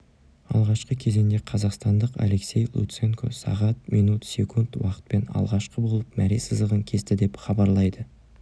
алғашқы кезеңде қазақстандық алексей луценко сағат минут секунд уақытпен алғашқы болып мәре сызығын кесті деп хабарлайды